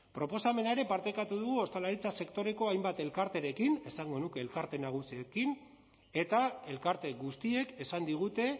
proposamena ere partekatu dugu ostalaritza sektoreko hainbat elkarterekin esango nuke elkarte nagusiekin eta elkarte guztiek esan digute